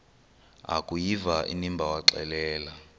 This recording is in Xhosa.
akuyiva inimba waxelela